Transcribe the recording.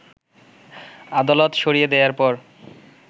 আদালত সরিয়ে দেয়ার পর